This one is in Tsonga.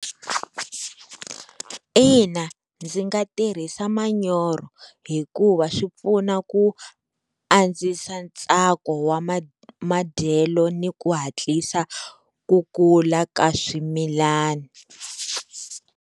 Ina, ndzi nga tirhisa manyoro hikuva swi pfuna ku andzisa ntsako wa madyelo ni ku hatlisa ku kula ka swimilani.